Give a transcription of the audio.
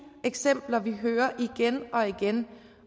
eksempler vi hører igen og igen